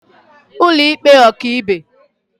ụlọịkpe ọkaibe